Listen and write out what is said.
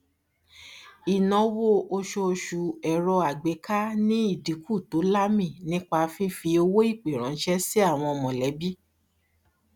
ìnáwó oṣooṣù ẹrọàgbẹká ní ìdínkù tó láàmì nípa fífi owóìpè ránṣẹ sí àwọn mọlẹbí